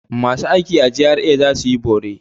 Masu aiki a GRA za su yi bore.